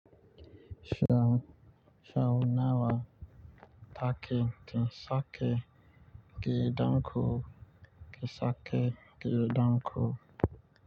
Shaunawa take tin sake, ke danko ke sake ke danko.